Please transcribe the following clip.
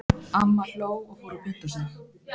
Amma hló og fór að punta sig.